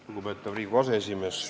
Lugupeetav Riigikogu aseesimees!